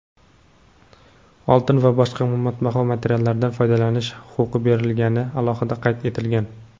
oltin va boshqa qimmatbaho metallardan foydalanish huquqi berilgani alohida qayd etilgan.